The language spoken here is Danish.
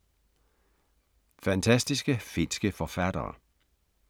Fantastiske finske forfattere